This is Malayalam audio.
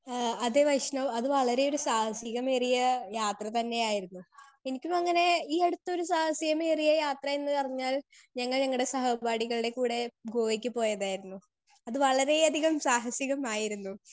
സ്പീക്കർ 2 ഏഹ് അത് പ്രെശ്നം അത് വളരെ ഒരു സാഹസികമേറിയ യാത്ര തന്നെയായിരുന്നു എനിക്കും അങ്ങനെ ഈ അടുത്തൊരു സാഹസിക്കമേറിയ യാത്രയെന്ന് പറഞ്ഞാൽ ഞങ്ങൾ ഞങ്ങടെ സഹപാഠികൾടെ കൂടെ ഗോവക്ക് പോയതായിരുന്നു അത് വളരെ അധികം സാഹസികമായിരുന്നു